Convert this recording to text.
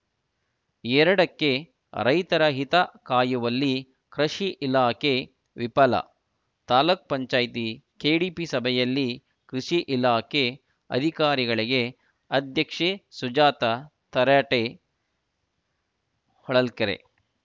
ಎರಡಕ್ಕೆರೈತರ ಹಿತ ಕಾಯುವಲ್ಲಿ ಕ್ರಷಿ ಇಲಾಖೆ ವಿಫಲ ತಾಲೂಕ್ ಪಂಚಾಯತಿ ಕೆಡಿಪಿ ಸಭೆಯಲ್ಲಿ ಕೃಷಿ ಇಲಾಖೆ ಅಧಿಕಾರಿಗಳಿಗೆ ಅಧ್ಯಕ್ಷೆ ಸುಜಾತ ತರಾಟೆ ಹೊಳಲ್ಕೆರೆ